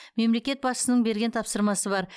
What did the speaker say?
мемлекет басшысының берген тапсырмасы бар